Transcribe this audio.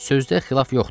Sözdə xilaf yoxdur.